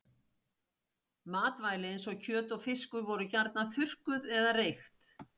Matvæli eins og kjöt og fiskur voru gjarnan þurrkuð eða reykt.